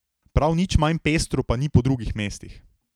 Prav nič manj pestro pa ni po drugih mestih.